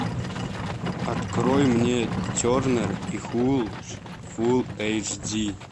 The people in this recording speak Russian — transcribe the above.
открой мне тернер и хуч фул эйч ди